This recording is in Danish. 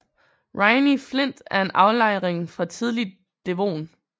Rhynie flint er en aflejring fra tidlig devon